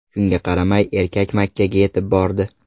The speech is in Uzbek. Shunga qaramay, erkak Makkaga yetib bordi.